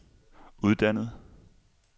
uddannet